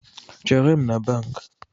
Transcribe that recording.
Chere m na bankị